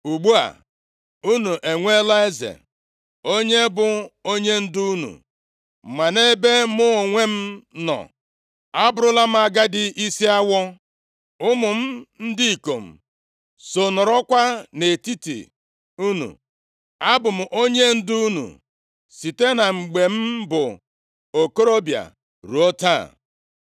Ugbu a, unu enweela eze, onye bụ onyendu unu. Ma nʼebe mụ onwe m nọ, abụrụla m agadi isi awọ, ụmụ m ndị ikom so nọrọkwa nʼetiti unu. Abụ m onyendu unu site na mgbe m bụ okorobịa ruo taa.